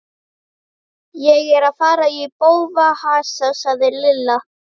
Ég er að fara í bófahasar sagði Lilla.